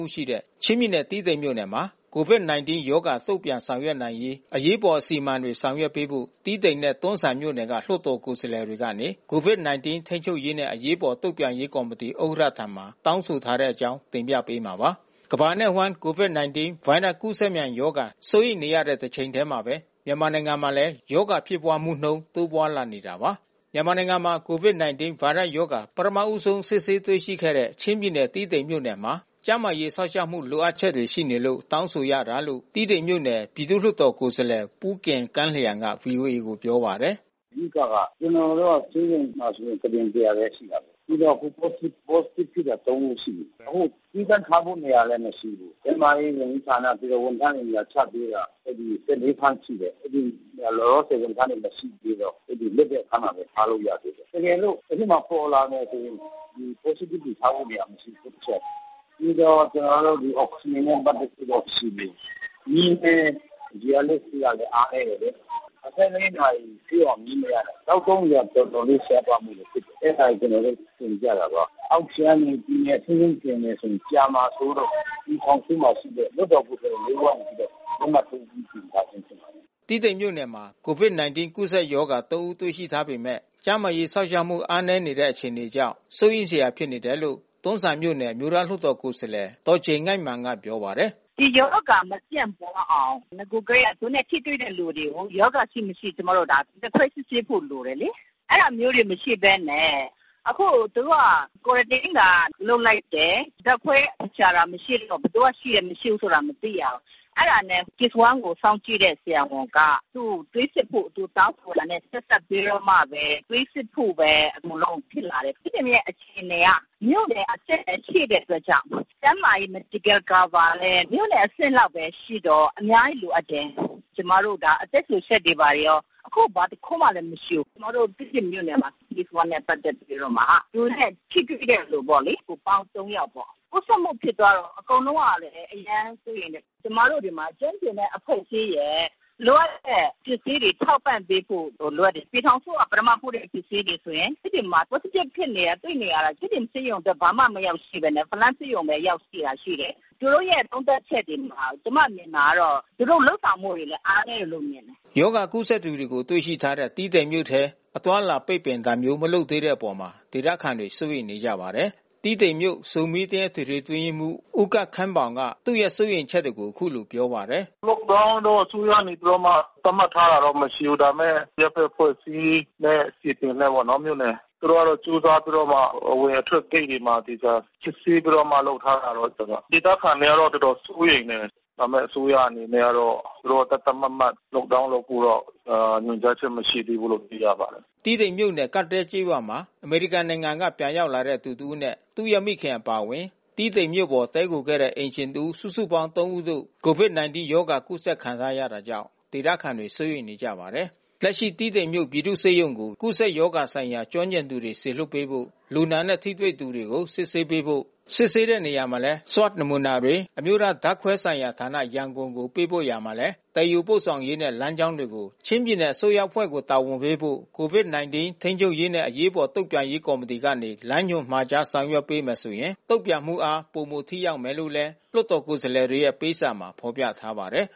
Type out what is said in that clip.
ဦး ရှိတဲ့ ချင်းပြည်နယ် တီးတိန်မြို့မှာ COVID-19 ရောဂါတုံ့ပြန်ဆောင်ရွက်နိုင်ရေး အရေးပေါ်အစီမံတွေ ဆောင်ရွက်ပေးဖို့ တီးတိန်နှင့် တွန်းဇံမြို့နယ်က လွှတ်တော်ကိုယ်စားလှယ်တွေကနေ COVID-19 ထိန်းချူပ်ရေးနှင့် အရေးပေါ်တုံ့ပြန်ရေးကော်မတီဥက္ကဋ္ဌထံ တောင်းဆိုထားတဲ့အကြောင်း ဗွီအိုအေ မြန်မာပိုင်းသတင်းထောက် ကိုနိုင်ကွန်းအိန်က တင်ပြပေးမှာပါ။ ကမ္ဘာနဲ့ အဝှမ်း COVID-19 ဗိုင်းရပ်စ် ကူးစက်မြန်ရောဂါ စိုးရိမ်နေရတဲ့တချိန်တည်းမှာဘဲ မြန်မာနိုင်ငံမှာလည်း ရောဂါဖြစ်ပွါးမှုနှုန်း တိုးပွါးလာနေတာပါ။ မြန်မာနိုင်ငံမှာ COVID-19 ဗိုင်းရပ်စ်ရောဂါ ပထမဦးဆုံး စစ်ဆေးတွေ့ရှိခဲ့တဲ့ ချင်းပြည်နယ်တီးတိန်မြို့နယ်မှာ ကျန်းမာရေးစောင့်ရှောက်မှု လိုအပ်ချက်တွေရှိနေလို့ တောင်းဆိုရတာလို့ တီးတိန်ပြည်သူ့လွှတ်တော်ကိုယ်စားလှယ် ပူးဂင် ကန်းလျံက ဗွီအိုအေကို ပြောပါတယ်။ “အဓိကက ကျနော်တို့ တီးတိန်မှာဆိုကုတင် ၁၀၀ လည်း ရှိတာကိုး။ ပြီးတော့ COVID Positive ဖြစ်တာ ၃ ဦးရှိပြီ။ အခုသီးသန့်ထားတဲ့ နေရာလည်း မရှိဘူး။ ကျန်းမာရေးဝန်ကြီးဌာန ဝန်ထမ်းတွေ နေရာချထားပေးတာ အဲဒီ ၁၄ ခန်း ရှိတယ်။ လောလောဆယ် ဝန်ထမ်းတွေ မရှိသေးတော့ အဲဒီအခန်းမှာပဲ ထားလို့ရသေးတယ်။ တကယ်လို့ အဲဒီမှာ ပေါ်လာမယ်ဆိုရင် Positive တွေထားဖို့ နေရာမရှိဘူး။ ပြီးတော့ ကျနော်တို့ အောက်စီဂျင်နဲ့ ပတ်သက်တာ မရှိသေးဘူး။ မီးလည်း ရေအားလျှပ်စစ်က အားနည်းတယ်လေ။ ၂၄ နာရီပြည့်အောင်မီး မရဘူး။ သောက်သုံးရေ တော်တော်လေး ရှားပါးမှုတွေ ဖြစ်တယ်။ အဲတာတွေ ကျနော်တို့ တင်ပြတာပါ။ အောက်ခြေကနေ ပြည်နယ်အစိုးရကို တင်မယ်ဆိုရင် ကြာမှာစိုးလို့ ပြည်ထောင်စုမှာ ရှိတဲ့လွှတ်တော်ကိုယ်စားလှယ် ၄ ဦးက လက်မှတ်ထိုးပြီး တင်ပြခြင်းဖြစ်ပါတယ်။” တီးတိန်မြို့မှာ COVID-19 ကူးစက်ရောဂါ ၃ ဦး တွေ့ရှိထားပေမဲ့ ကျန်းမာရေးစောင့်ရှောက်မှု အားနည်းနေတဲ့ အခြေအနေကြောင့် စိုးရိမ်စရာဖြစ်နေတယ်လို့ တွန်းဇံမြို့နယ် အမျိူးသားလွှတ်တော်ကိုယ်စားလှယ် ဒေါ်ကျိန်ငိုက်မာန်က ပြောပါတယ်။ “ဒီရောဂါမပြန့်ပွါးအောင် နဂိုလ်ကတည်းက သူနဲ့ ထိတွေ့တဲ့လူတွေကို ရောဂါရှိ၊ မရှိ ကျမတို့ ဓါတ်ခွဲစစ်ဆေးဖို့ လိုတယ်လေ။ အဲတာမျိုးတွေ မရှိဘဲနဲ့ အခုသူတို့က Quarantine သာ လုပ်လိုက်တယ်။ ဓါတ်ခွဲရှာတာ မရှိတော့ ဘယ်သူက ရှိတယ်၊ မရှိတာမသိရဘူး။ အဲတာနဲ့ Case 1 ကို စောင့်ကြည့်တဲ့ဆရာဝန်က သူ့ကို သွေးစစ်ဖို့ သူတောင်းဆိုတာနဲ့ ဆက်စပ်ပြီးတော့မှဘဲ သွေးစစ်ဖို့ပဲ အကုန်လုံးဖြစ်လာတယ်။ တီးတိန်မြို့နယ်အခြေအနေက မြို့နယ်အဆင့်ပဲ ရှိတဲ့အတွက်ကြောင့် ကျန်းမာရေး Medical cover လည်း မြို့နယ်အဆင့်ပဲ ရှိတော့အများကြီး လိုအပ်တယ်။ ကျမတို့က အသက်ရှှုစက်တွေရော ဘာတွေရော ဘာတခုမှ မရှိဘူး။ ကျမတို့ တီးတိန်မြို့နယ်က Case 1 နဲ့ ပတ်သက်ပြီးတော့မှ သူနဲ့ထိတွေ့တဲ့လူပေါ့လေ အပေါင်း ၃ ယောက်ပေါ့။ ကူးစက်မှု ဖြစ်သွားတော့အကုန်လုံးက အရမ်းစိုးရိမ်တယ်။ ကျမတို့မှာ ကျွမ်းကျင်တဲ့ အဖွဲ့အစည်းရယ် လိုအပ်တဲ့ပစ္စည်းတွေ ထောက်ပံ့ပေးဖို့ လိုအပ်တယ်။ ပြည်ထောင်စုက ပထမပို့တဲ့ပစ္စည်းတွေဆိုရင် တီးတိန်မှာ Positive ဖြစ်နေတာတွေ့နေတာ တီးတိန်ဆေးရုံအတွက် ဘာမှမရောက်ဘဲနဲ့ ဖလမ်းဆေးရုံပဲ ရောက်ရှိတာရှိတယ်။ သူတို့ရဲ့ဆုံးဖြတ်ချက်တွေမှာ ကျမမြင်တာကတော့ သူတို့လုပ်ဆောင်မှုတွေအားနည်းတယ်လို့ပဲ မြင်တယ်။” ရောဂါကူးစက်သူတွေကို တွေ့ရှိထားတဲ့ တီးတိန်မြို့ထဲ အသွားအလာ ပိတ်ပင်တာမျိုး မလုပ်သေးတဲ့အပေါ် ဒေသခံတွေ စိုးရိမ်နေကြပါတယ်။ တီးတိန်မြို့ အသင်း အထွေထွေအတွင်းရေးမှူး ဦးကပ်ခင်းပေါင်က သူ့စိုးရိမ်ချက်တွေကို အခုလိုပြောပါတယ်။ “Lock Down တော့ အစိုးရအနေနဲ့သတ်မှတ်ထားတာ မရှိဘူး။ ဒါပေမဲ့ အရပ်ဖက်အဖွဲ့အစည်းနဲ့ ပြည်သူနဲ့ပေါ့နော် သူတို့က ကြိုးစားပြီးတော့မှ အဝင်အထွက်ဂိတ်တွေမှာ စစ်ဆေးပြီးတော့ လုပ်ထားတာ ရှိတယ်။ ဒေသခံတွေကတော့ တော်တော်စိုးရိမ်နေတယ်။ အစိုးရအနေနဲ့ကတော့ သူတို့က သတ်သတ်မှတ်မှတ် LockDown လုပ်ဖို့ကတော့ ညွှန်ကြားချက်မရှိသေးဘူးလို့ သိရပါတယ်။” တီးတိန်မြို့နယ် ကပ်တဲလ်ကျေးရွာမှာ အမေရိကန်နိုင်ငံမှ ပြန်ရောက်လာတဲ့ သူတစ်ဦးနဲ့ သူရဲ့မိခင် အပါအဝင် တီးတိန်မြို့ပေါ်တည်းခိုခဲ့တဲ့ အိမ်ရှင်တစ်ဦး စုစုပေါင်း ၃ ဦးတို့ COVID-19 ရောဂါကူးစက်ခံထားရတာကြောင့် ဒေသခံတွေ စိုးရိမ်နေကြပါတယ်။ လက်ရှိ တီးတိန်မြို့ပြည်သူ့ဆေးရုံကို ကူးစက်ရောဂါဆိုင်ရာ ကျွမ်းကျင်သူတွေ စေလွှတ်ပေးဖို့ လူနာနဲ့ ထိတွေ့သူတွေကို စစ်ဆေးပေးဖို့ စစ်ဆေးတဲ့နေရာမှာလဲ Swab နမူနာတွေ အမျိူးသားဓာတ်ခွဲဆိုင်ရာဌာန ကို ပေးပို့ရာမှာလည်း သယ်ယူပို့ဆောင်ရေးနှင့် လမ်းကြောင်းတွေကို ချင်းပြည်နယ်အစိုးရအဖွဲ့ကို တာဝန်ယူပေးဖို့ COVID-19 ထိန်းချူပ်ရေးနှင့် အရေးပေါ်တုံ့ပြန်ရေးကော်မတီကနေ လမ်းညွန်မှာ ကြားဆောင်ရွက်ပေးမယ်ဆိုရင် တုံ့ပြန်မှုအား ပိုမိုထိရောက်မယ်လို့ လွှတ်တော်ကိုယ်စားလှယ်တွေရဲ့ပေးစာမှာဖော်ပြထားပါတယ်